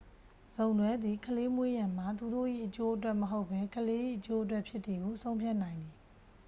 စုံတွဲသည် ကလေးမွေးရန်မှာ သူတို့၏အကျိုးအတွက်မဟုတ်ဘဲ ကလေး၏အကျိုးအတွက်ဖြစ်သည်ဟု ဆုံးဖြတ်နိုင်သည်